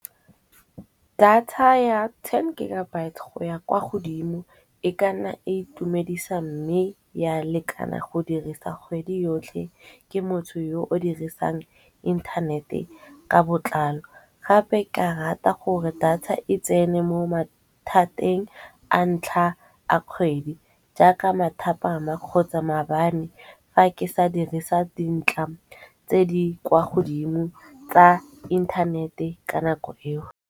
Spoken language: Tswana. Data ya ten gigabyte go ya kwa godimo, e kana itumedisa mme ya lekana go dirisa kgwedi yotlhe ke motho yo o dirisang inthanete ka botlalo. Gape ka rata gore data e tsene mo mathateng a ntlha a kgwedi jaaka mathapama kgotsa mabane fa ke sa dirisa dintlha tse di kwa godimo tsa inthanete ka nako eo.